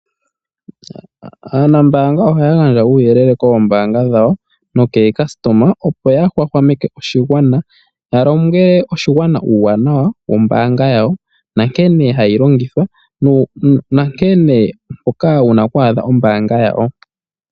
Anambanga ohaya gandja uuyelele koombaanga dhawo nokaalongithi opo yahwahwameke oshigwana, yalombwele oshigwana uuwanawa wombaanga yawo, nankene hayi longithwa naampoka wuna oku adha ombaanga yawo.